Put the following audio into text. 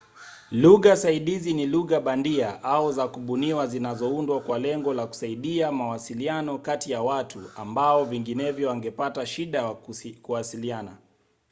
lugha saidizi ni lugha bandia au za kubuniwa zinazoundwa kwa lengo la kusaidia mawasiliano kati ya watu ambao vinginevyo wangepata shida ya kuwasiliana